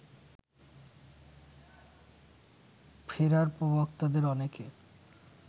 ফেরার প্রবক্তাদের অনেকে